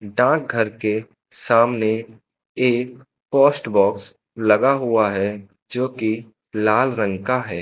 डाक घर के सामने एक पोस्ट बॉक्स लगा हुआ है जोकि लाल रंग का है।